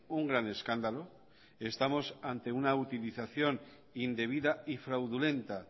un gran escándalo estamos ante una utilización indebida y fraudulenta